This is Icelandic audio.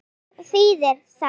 En hvað þýðir það?